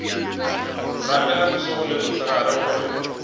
rapela bošego le mosegare gore